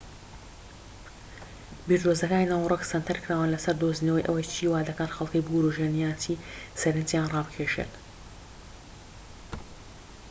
بیردۆزەکانی ناوەرۆك سەنتەرکراون لەسەر دۆزینەوەی ئەوەی چی وادەکات خەڵکی بوروژێن یان چی سەرنجیان ڕابکێشێت